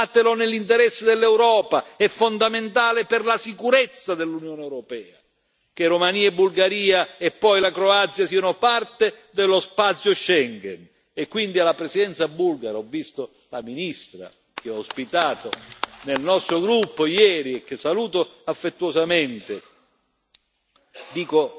Non esitate ancora, fatelo nell'interesse dell'Europa, è fondamentale per la sicurezza dell'Unione europea, che Romania e Bulgaria, e poi la Croazia siano parte dello spazio Schengen, e quindi alla Presidenza bulgara ho visto la ministra, che ho ospitato nel nostro gruppo ieri e che saluto affettuosamente